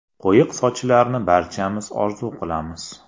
Quyuq sochlarni barchamiz orzu qilamiz.